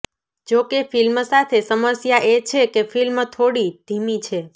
જોકે ફિલ્મ સાથે સમસ્યા એ છે કે ફિલ્મ થોડી ધીમી છે